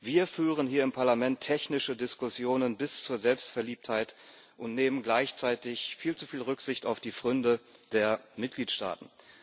Wir führen hier im Parlament technische Diskussionen bis zur Selbstverliebtheit und nehmen gleichzeitig viel zu viel Rücksicht auf die Pfründe der Mitgliedstaaten.